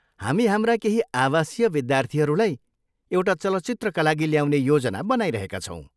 हामी हाम्रा केही आवासीय विद्यार्थीहरूलाई एउटा चलचित्रका लागि ल्याउने योजना बनाइरहेका छौँ।